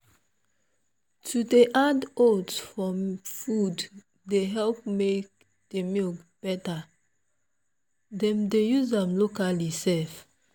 to dey add oats for food dey help make the milk better them dey use am locally sef.